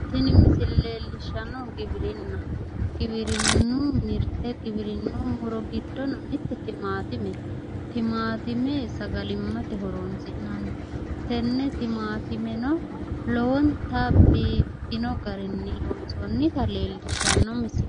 Tini misile leellishshnnohu giwirinnaho giwirinnu mirte giwirinnu giddono ise timaatimete. timaatimete sagalimmate horonsi'nanni tenne timaatimeno lowonta biiffino garinni loonsoonnita leellishshanno misileeti.